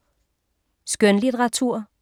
Skønlitteratur